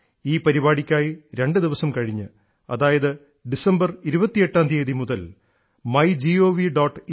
ഈ പരിപാടിയ്ക്കായി രണ്ടു ദിവസം കഴിഞ്ഞ് അതായത് 28 ഡിസംബർ മുതൽ മൈ ഗവ്വ്